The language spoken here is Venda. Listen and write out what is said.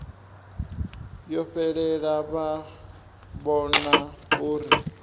yo fhelela vha vhona uri